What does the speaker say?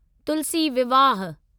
तुलसी विवाह